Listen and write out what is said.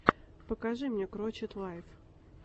покажи мне крочет лайф